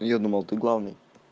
а я думал ты главный